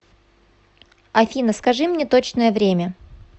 афина скажи мне точное время